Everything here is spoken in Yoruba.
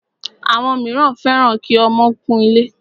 Àwọn míràn fẹ́ràn kí ọmọ kún ilé.